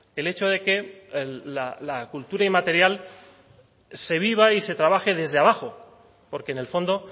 el hecho de que la cultura inmaterial se viva y se trabaje desde abajo porque en el fondo